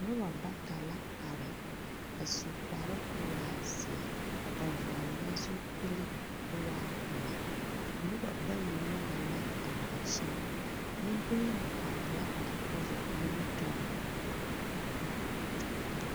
Nobɔ bata la are a su kparoo k’o waa zeɛ. Ba vɔɔle la zupili k'o waa pelaa. Nobɔ bayi nyɔge la a ŋmansiin. Nembonyenaa are la a kɔva nimitɔɔre.